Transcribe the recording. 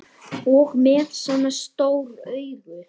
Og með svona stór augu.